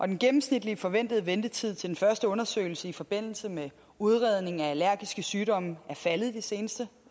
den gennemsnitlige forventede ventetid til den første undersøgelse i forbindelse med udredning af allergiske sygdomme er faldet de seneste